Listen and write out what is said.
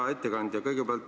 Hea ettekandja!